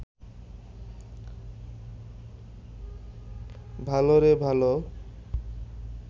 ভালোরে ভালো